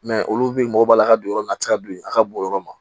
olu bi mɔgɔ b'a la ka don yɔrɔ min na a ti se ka don a ka bon o yɔrɔ ma